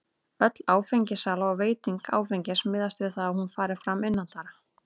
Öll áfengissala og veiting áfengis miðast við það að hún fari fram innandyra.